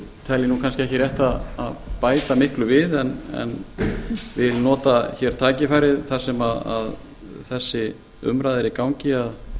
ég kannski ekki rétt að bæta miklu við en vil nota hér tækifærið þar sem þessi umræða er í gangi að